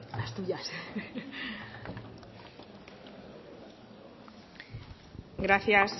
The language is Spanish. gracias